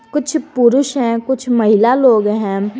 कुछ पुरुष है कुछ महिला लोग हैं।